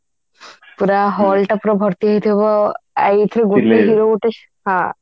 ପୁରା hall ଟା ପୁରା ଭର୍ତ୍ତି ହେଇଥିବ ଆଉ ଏଇଥିରେ ହଁ